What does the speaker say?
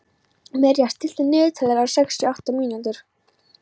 Mirja, stilltu niðurteljara á sextíu og átta mínútur.